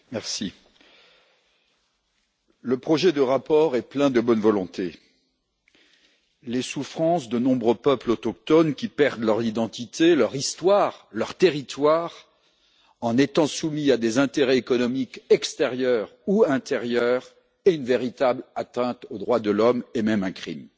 Monsieur le Président, le projet de rapport est plein de bonne volonté. Les souffrances de nombreux peuples autochtones qui perdent leur identité, leur histoire, leur territoire en étant soumis à des intérêts économiques extérieurs ou intérieurs est une véritable atteinte aux droits de l'homme et même un crime.